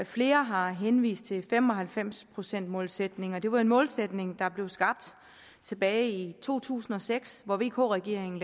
flere har henvist til fem og halvfems procentsmålsætningen det var en målsætning der blev skabt tilbage i to tusind og seks hvor vk regeringen